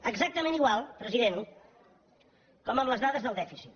exactament igual president com amb les dades del dèficit